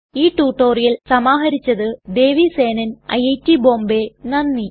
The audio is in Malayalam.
ഈ റ്റുറ്റൊരിയൽ സമാഹരിച്ചത് ദേവി സേനൻ ഐറ്റ് ബോംബേ നന്ദി